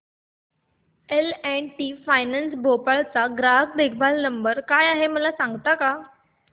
L and T finance Bhopal चा ग्राहक देखभाल नंबर काय आहे मला सांगता का